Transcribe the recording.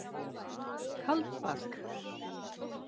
Kaldbak